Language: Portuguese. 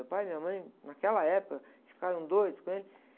Meu pai e minha mãe, naquela época, ficaram doidos com ele.